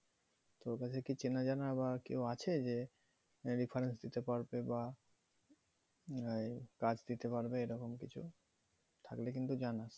তোর কাছে কি চেনা জানা বা কেও আছে যে reference দিতে পারবে বা এই কাজ দিতে পারবে এরকম কিছু থাকলে কিন্তু জানাস